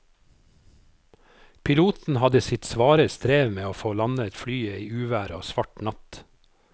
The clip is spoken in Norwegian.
Piloten hadde sitt svare strev med å få landet flyet i uvær og svart natt.